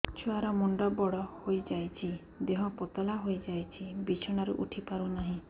ଛୁଆ ର ମୁଣ୍ଡ ବଡ ହୋଇଯାଉଛି ଦେହ ପତଳା ହୋଇଯାଉଛି ବିଛଣାରୁ ଉଠି ପାରୁନାହିଁ